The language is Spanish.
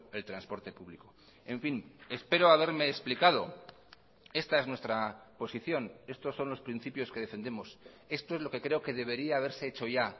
el transporte público en fin espero haberme explicado esta es nuestra posición estos son los principios que defendemos esto es lo que creo que debería haberse hecho ya